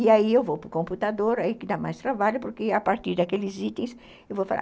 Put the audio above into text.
E aí eu vou para o computador, aí que dá mais trabalho, porque a partir daqueles itens eu vou falar.